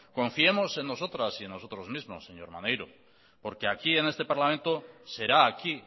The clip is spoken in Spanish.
confiemos en nosotras y en nosotros mismos señor maneiro porque aquí en este parlamento será aquí